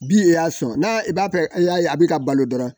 Bin y'a sɔn n'a b'a fɛ a y'a ye a bɛ ka balo dɔrɔn